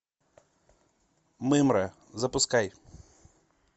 мымра запускай